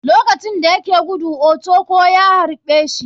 Lokacin dayake gudu ochukwu ya haɓe shi.